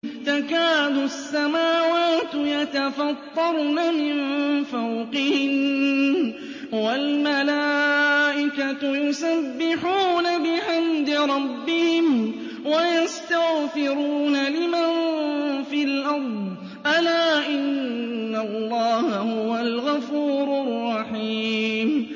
تَكَادُ السَّمَاوَاتُ يَتَفَطَّرْنَ مِن فَوْقِهِنَّ ۚ وَالْمَلَائِكَةُ يُسَبِّحُونَ بِحَمْدِ رَبِّهِمْ وَيَسْتَغْفِرُونَ لِمَن فِي الْأَرْضِ ۗ أَلَا إِنَّ اللَّهَ هُوَ الْغَفُورُ الرَّحِيمُ